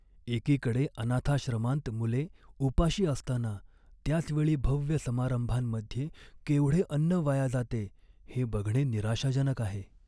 एकीकडे अनाथाश्रमांत मुले उपाशी असताना त्याच वेळी भव्य समारंभांमध्ये केवढे अन्न वाया जाते हे बघणे निराशाजनक आहे.